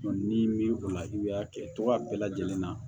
ni mi o la i y'a kɛ togoya bɛɛ lajɛlen na